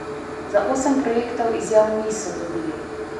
Za osem projektov izjav niso dobili.